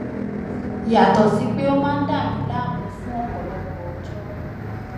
yàtọ sí pé ó máa ń dàmi láàmú fún ọpọlọpọ ọjọ